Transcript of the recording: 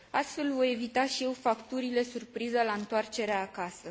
Astfel, voi evita și eu facturile surpriză la întoarcerea acasă.